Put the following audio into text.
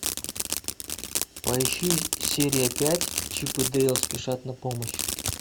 поищи серия пять чип и дейл спешат на помощь